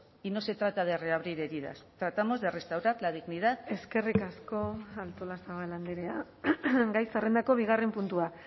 y no se trata de reabrir heridas tratamos de restaurar la dignidad eskerrik asko artolazabal andrea gai zerrendako bigarren puntua